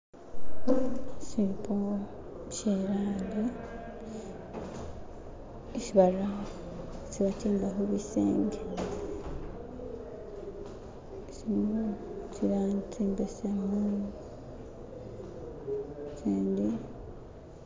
ishipo isi bara isi batimba hubisenge silimo tsilangi tsimbesemu tsindi